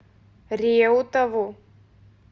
реутову